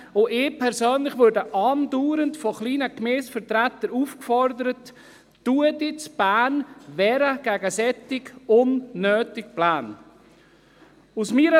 Ich persönlich werde andauernd von Vertretern kleiner Gemeinden aufgefordert, mich in Bern gegen solche unnötigen Pläne zu wehren.